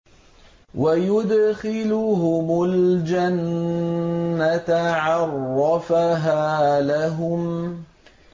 وَيُدْخِلُهُمُ الْجَنَّةَ عَرَّفَهَا لَهُمْ